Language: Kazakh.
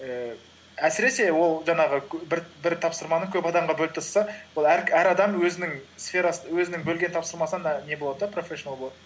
ііі әсіресе ол жаңағы бір тапсырманы көп адамға бөліп тастаса ол әр адам өзінің бөлген тапсырмасында не болады да профешинал болады